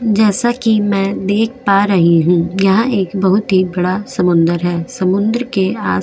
जैसा की मैं देख पा रही हूँ यहा एक बहुत ही बड़ा समुंदर है समुंदर के आस --